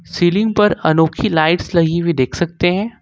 Ceiling पर अनोखी lights लगी हुई देख सकते हैं।